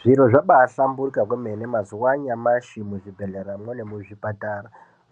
Zviro zvabaahlamburika kwemene mazuwa anyamashi muzvibhedhleyamwo nemuzvipatara.